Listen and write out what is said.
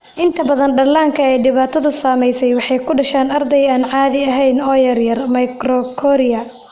Inta badan dhallaanka ay dhibaatadu saameysey waxay ku dhashaan arday aan caadi ahayn oo yaryar (microcoria).